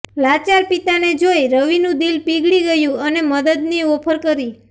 લાચાર પિતાને જોઈ રવિનું દિલ પીગળી ગયુ અને મદદની ઓફર કરી